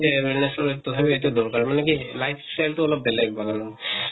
তথাপি এইটো দৰকাৰ মানে কি life style টো অলপ বেলেগ বাগানৰ।